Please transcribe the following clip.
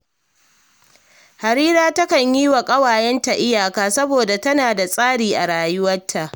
Harira takan yi wa ƙawayenta iyaka, saboda tana da tsari a rayuwarta